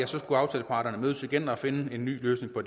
skulle aftaleparterne mødes igen og finde en ny løsning på